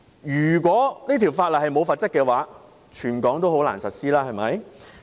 如果法例沒有了罰則，便難以在全港實施。